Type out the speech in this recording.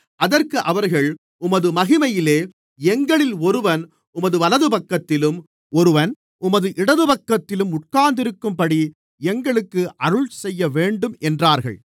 அதற்கு அவர்கள் உமது மகிமையிலே எங்களில் ஒருவன் உமது வலதுபக்கத்திலும் ஒருவன் உமது இடதுபக்கத்திலும் உட்கார்ந்திருக்கும்படி எங்களுக்கு அருள்செய்யவேண்டும் என்றார்கள்